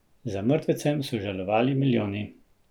Za mrtvecem so žalovali milijoni.